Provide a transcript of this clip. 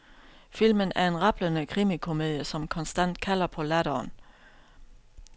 Filmen er en rablende krimikomedie som konstant kalder på latteren.